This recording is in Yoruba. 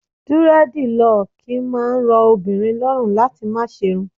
Dúrẹ́dilọ̀kì máa ń rọ obìnrin lọ́rùn láti máa ṣe'run.